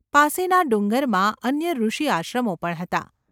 પાસેના ડુંગરમાં અન્ય ઋષિ આશ્રમો પણ હતા.